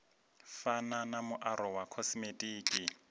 fana na muaro wa khosimetiki